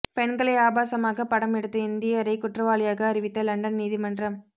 பெண்களை ஆபாசமாக படம் எடுத்த இந்தியரரை குற்றவாளியாக அறிவித்த லண்டன் நீதிமன்றம்